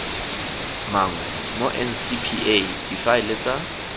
mangwe mo ncpa difaele tsa